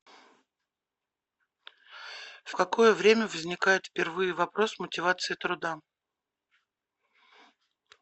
в какое время возникает впервые вопрос мотивации труда